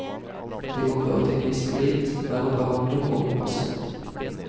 Det kan føre til mistillit mellom behandler og pasient.